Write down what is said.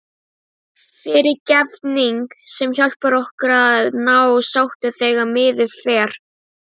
FYRIRGEFNING- sem hjálpar okkur að ná sáttum þegar miður fer.